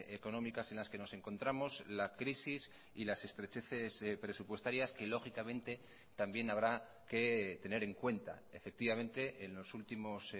económicas en las que nos encontramos la crisis y las estrecheces presupuestarias que lógicamente también habrá que tener en cuenta efectivamente en los últimos